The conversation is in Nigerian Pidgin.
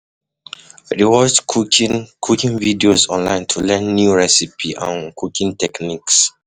I um dey watch cooking cooking videos online to learn new recipes um and cooking techniques.